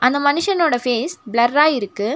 இந்த மனுஷனோட ஃபேஸ் பிளர்ரா இருக்கு.